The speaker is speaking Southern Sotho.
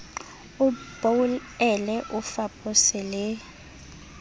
o boele o fapose le